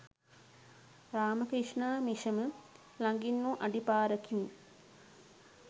රාම ක්‍රිෂ්ණා මිෂම ළඟින්වූ අඩි පාරකිනි.